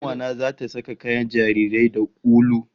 Kanuwa ta zata saka kayan jarirai da ulu